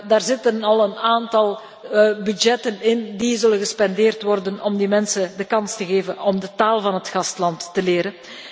Daar zitten al een aantal budgetten in die gespendeerd zullen worden om die mensen de kans te geven om de taal van het gastland te leren.